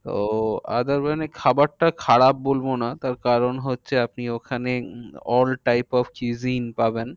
তো খাবারটা খারাপ বলবো না। তার কারণ হচ্ছে আপনি ওখানে all time of cheesy পাবেন।